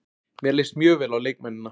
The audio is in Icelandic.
Mér leist mjög vel á leikmennina.